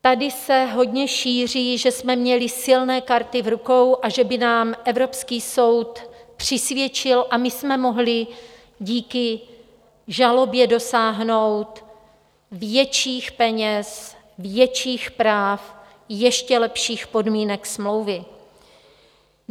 Tady se hodně šíří, že jsme měli silné karty v rukou a že by nám Evropský soud přisvědčil a my jsme mohli díky žalobě dosáhnout větších peněz, větších práv, ještě lepších podmínek smlouvy.